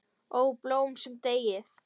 Ó, blóm sem deyið!